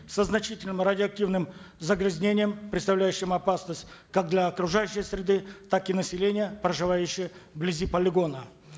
со значительным радиоактивным загрязнением представляющим опасность как для окружающей среды так и населения проживающего вблизи полигона